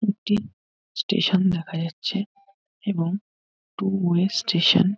একটি স্টেশান দেখা যাচ্ছে এবং টু ওয়ে স্টেশান ।